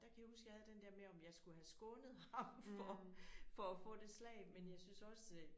Der kan jeg huske jeg havde den der med om jeg skulle have skånet ham for for at få det slag men jeg syntes også